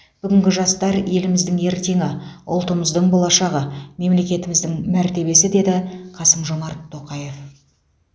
бүгінгі жастар еліміздің ертеңі ұлтымыздың болашағы мемлекетіміздің мәртебесі деді қасым жомарт тоқаев